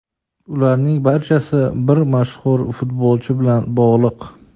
Ularning barchasi bir mashhur futbolchi bilan bog‘liq.